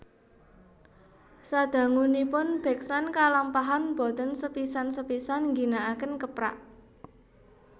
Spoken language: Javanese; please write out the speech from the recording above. Sadangunipun beksan kalampahan boten sepisan sepisan ngginakaken keprak